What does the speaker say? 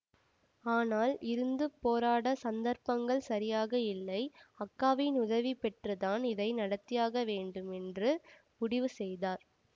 ஆனால் இருந்து போராட சந்தர்ப்பங்கள் சரியாக இல்லை அக்காவின் உதவி பெற்றுத்தான் இதை நடத்தியாக வேண்டும் என்று முடிவு செய்தார்